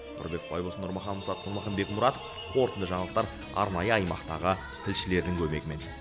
нұрбек байбосын нұрмахан мұсатов нұрмахан бекмұратов қорытынды жаңалықтар арнайы аймақтағы тілшілердің көмегімен